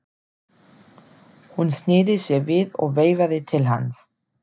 Hún sneri sér við og veifaði til hans.